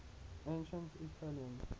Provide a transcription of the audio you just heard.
ancient aetolians